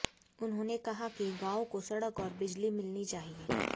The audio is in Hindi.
उन्होंने कहा कि गांव को सड़क और बिजली मिलनी चाहिए